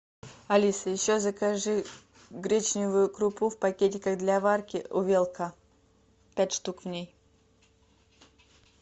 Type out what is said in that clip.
алиса еще закажи гречневую крупу в пакетиках для варки увелка пять штук в ней